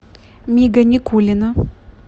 мига никулина